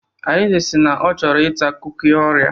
Arinze si na ọ chọrọ ita kuki orea.